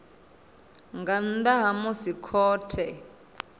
nga nnḓa ha musi khothe